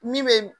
Min bɛ